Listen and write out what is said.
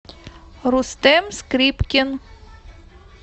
рустэм скрипкин